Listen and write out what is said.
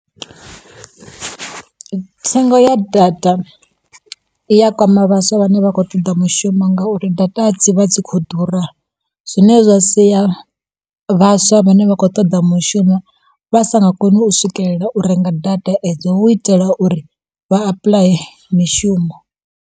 Thengo ya data i ya kwama vhaswa vhane vha khou ṱoḓa mushumo ngauri data dzi vha dzi khou ḓura, zwine zwa sia vhaswa vhane vha khou ṱoḓa mushumo vha sa nga koni u swikelela u renga data edzo hu u itela uri vha apply mishumo.